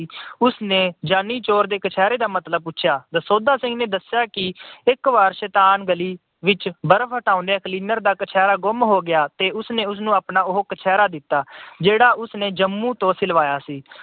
ਉਸ ਨੇ ਜਾਨੀ ਚੋਰ ਦੇ ਕਛਹਿਰੇ ਦਾ ਮਤਲਬ ਪੁੱਛਿਆ, ਦਸੌਂਧਾ ਸਿੰਘ ਨੇ ਦੱਸਿਆ ਕਿ ਇਕ ਵਾਰ ਸ਼ੈਤਾਨ ਗਲੀ ਵਿੱਚ ਬਰਫ ਹਟਾਉਂਦੀਆਂ cleaner ਦਾ ਕਛਹਿਰਾ ਗੁੰਮ ਹੋ ਗਿਆ ਤੇ ਉਸਨੇ ਉਸਨੂੰ ਆਪਣਾ ਉਹ ਕਛਹਿਰਾ ਦਿੱਤਾ ਜਿਹੜਾ ਉਸਨੇ ਜੰਮੂ ਤੋਂ ਸਿਲਵਾਇਆ ਸੀ।